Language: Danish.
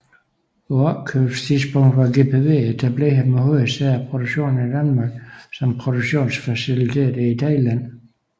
På opkøbstidspunktet var GPV etableret med hovedsæde og produktion i Danmark samt produktionsfaciliteter i Thailand